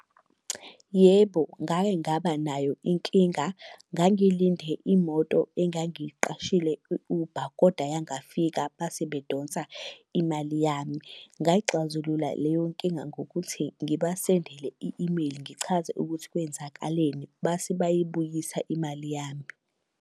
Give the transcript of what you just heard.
Yebo, ngake ngaba nayo inkinga, ngangilinde imoto engangiqashile i-Uber, koda ayangafika base bedonsa imali yami. Ngayixazulula leyo nkinga ngokuthi ngibasendele i-imeyili ngichaze ukuthi kwenzakaleni, base bayibuyisa imali yami.